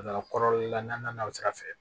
A taara kɔrɔla la n'a sira fɛ